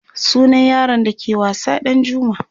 sunan yaron da ke wasa Ɗanjuma